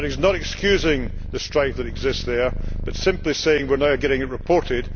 That is not excusing the strife that exists there but simply saying we are now getting it reported.